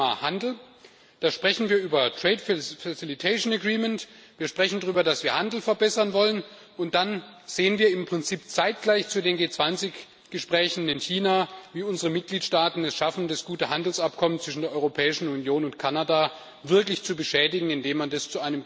Und zum Thema Handel Da sprechen wir über trade facilitation agreements, wir sprechen darüber, dass wir den Handel verbessern wollen, und sehen dann im Prinzip zeitgleich zu den G20-Gesprächen in China, wie unsere Mitgliedstaaten es schaffen, das gute Handelsabkommen zwischen der Europäischen Union und Kanada wirklich zu beschädigen, indem man es